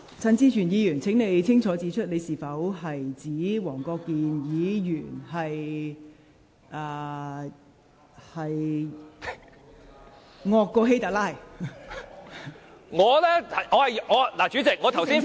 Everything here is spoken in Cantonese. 陳志全議員，請清楚指出你是否指黃國健議員"比希特拉還要兇狠"？